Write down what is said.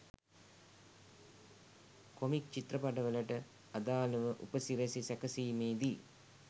comic චිත්‍රපටවලට අදාලව උපසිරැසි සැකසීමේදී